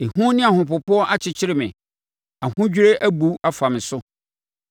Ehu ne ahopopoɔ akyekyere me. Ahodwirie abu afa me so.